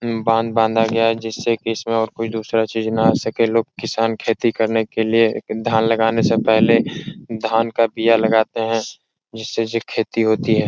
उम बांध बांधा गया है जिससे की इसमें और कोई दूसरा चीज ना आ सके लोग किसान खेती करने के लिए एक धान लगाने से पहले धान का बिया लगते हैं जिससे जे खेती होती है।